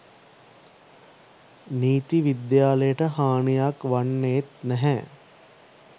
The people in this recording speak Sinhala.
නීති විද්‍යාලයට හානියක් වන්නෙත් නැහැ